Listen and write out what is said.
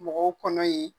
Mɔgɔw kɔnɔ ye